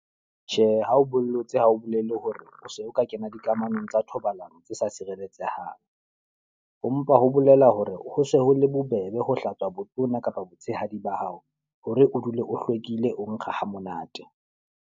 Tjhe, ha o bollotse ha o bolele hore o se o ka kena dikamanong tsa thobalano tse sa sireletsehang. Ho mpa ho bolela hore ho se ho le bobebe ho hlatswa botona kapa botshehadi ba hao. Hore o dule o hlwekile o nkga ha monate.